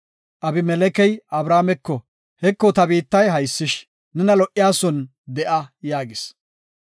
Abimelekey Abrahaameko, “Heko, ta biittay haysish nena lo77oson de7a” yaagis.